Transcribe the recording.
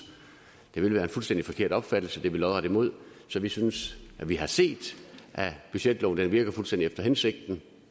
det ville være en fuldstændig forkert opfattelse det er vi lodret imod så vi synes vi har set at budgetloven virker fuldstændig efter hensigten